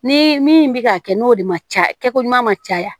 Ni min bɛ ka kɛ n'o de ma ca kɛko ɲuman ma caya